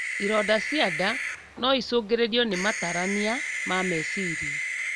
Ironda cia nda noicũngĩrĩrio na matarania ma meciria